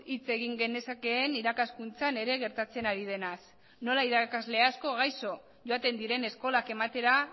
hitz egin genezakeen irakaskuntzan ere gertatzen ari denaz nola irakasle asko gaixo joaten diren eskolak ematera